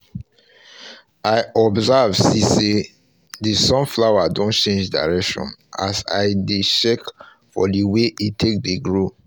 i observe see say the sunflower don change direction as i dey check for the way e take dey grow